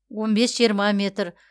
он бес жиырма метр